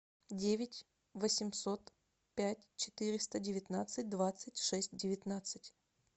девять восемьсот пять четыреста девятнадцать двадцать шесть девятнадцать